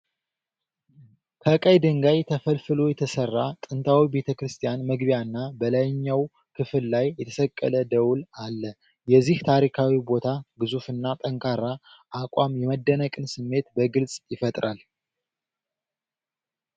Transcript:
ከቀይ ድንጋይ ተፈልፍሎ የተሠራ ጥንታዊ ቤተክርስቲያን መግቢያና በላይኛው ክፍል ላይ የተሰቀለ ደወል አለ። የዚህ ታሪካዊ ቦታ ግዙፍና ጠንካራ አቋም የመደነቅን ስሜት በግልጽ ይፈጥራል።